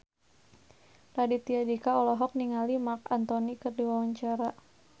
Raditya Dika olohok ningali Marc Anthony keur diwawancara